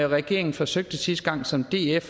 regeringen forsøgte sidste gang og som df